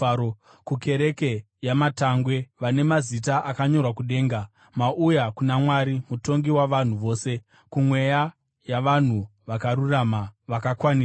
kukereke yamatangwe, vane mazita akanyorwa kudenga. Mauya kuna Mwari, mutongi wavanhu vose, kumweya yavanhu vakarurama vakakwaniswa,